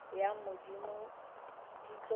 ya modimo di tlo re